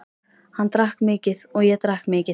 Hann drakk mikið og ég drakk mikið.